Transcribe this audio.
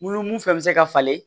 Mun fɛn fɛn bɛ se ka falen